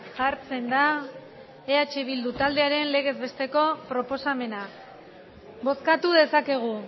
jartzen da eh bildu taldearen legez besteko proposamena bozkatu dezakegu